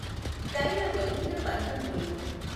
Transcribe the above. డైఱ ఒలికిన పంతంబులు